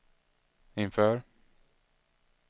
inför